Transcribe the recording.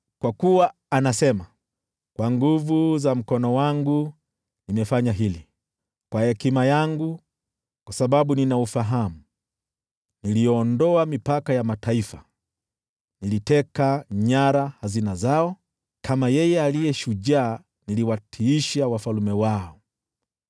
Kwa kuwa anasema: “ ‘Kwa nguvu za mkono wangu nimefanya hili, kwa hekima yangu, kwa sababu nina ufahamu. Niliondoa mipaka ya mataifa, niliteka nyara hazina zao, kama yeye aliye shujaa niliwatiisha wafalme wao.